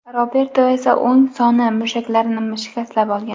Roberto esa o‘ng soni mushaklarini shikastlab olgan.